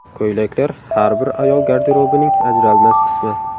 Ko‘ylaklar har bir ayol garderobining ajralmas qismi.